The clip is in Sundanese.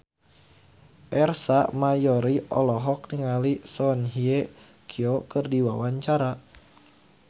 Ersa Mayori olohok ningali Song Hye Kyo keur diwawancara